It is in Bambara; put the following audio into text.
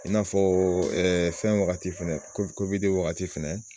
I n'afɔ fɛn wagati wagati fɛnɛ.